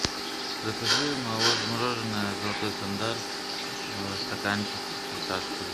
закажи мороженое золотой стандарт стаканчик фисташковый